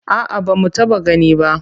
A'a ba mu taɓa gani ba.